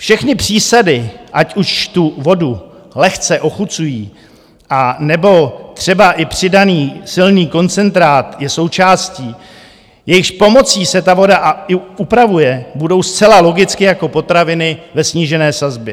Všechny přísady, ať už tu vodu lehce ochucují, anebo třeba i přidaný silný koncentrát je součástí, jejichž pomocí se ta voda upravuje, budou zcela logicky jako potraviny ve snížené sazbě.